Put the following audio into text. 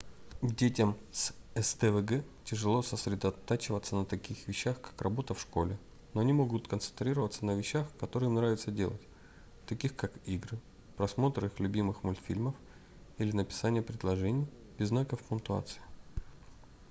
детям с сдвг тяжело сосредотачиваться на таких вещах как работа в школе но они могут концентрироваться на вещах которые им нравиться делать таких как игры просмотр их любимых мультфильмов или написание предложений без знаков пунктуации